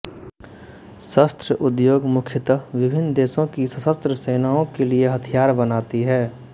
शस्त्र उद्योग मुख्यतः विभिन्न देशों की सशस्त्र सेनाओं के लिए हथियार बनाती हैं